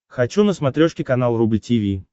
хочу на смотрешке канал рубль ти ви